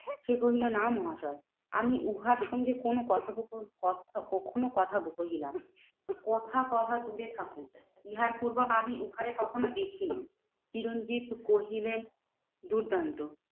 সে কহিলো না মহাশয় আমি উহার সঙ্গে কোনো কথোপকথন কথা কখনো কথা কোহিনা। কথা কহা দূরে থাকুক ইহার পূর্বে আমি উহারে কখনো দেখি নাই। চিরঞ্জিত কহিলেন, দুর্দান্ত